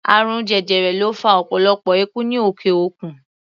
Àrùn jẹjẹrẹ ló fa ọ̀pọ̀lọpọ̀ ikú ní òkè-òkun.